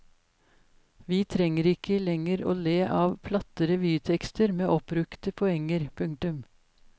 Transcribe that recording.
Vi trenger ikke lenger å le av platte revytekster med oppbrukte poenger. punktum